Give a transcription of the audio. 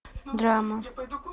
драма